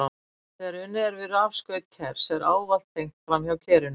Þegar unnið er við rafskaut kers er ávallt tengt framhjá kerinu.